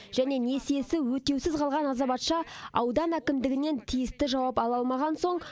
және несиесі өтеусіз қалған азаматша аудан әкімдігінен тиісті жауап ала алмаған соң